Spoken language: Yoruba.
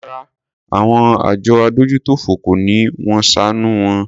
Rárá àwọn àjọ adójútòfò kọ́ ni wón ṣàánù wọn.